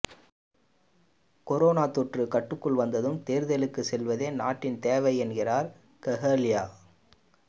corona தொற்று கட்டுக்குள் வந்ததும் தேர்தலுக்கு செல்வதே நாட்டின் தேவை என்கின்றார் கெஹலிய